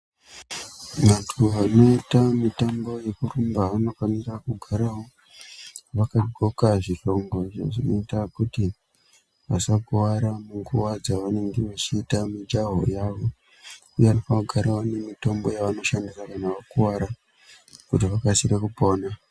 Vantu vanoita mitambo yekurumba vanofanira kugara vakaqxoka zvihlongo izvo zvinoite kuti vasakuwara munguwa dzavanenga vachiita mijaho yawo, uye vanofanira kugara vane mitombo yavanoshandisa kana vakuwara kuti vakasike kupona..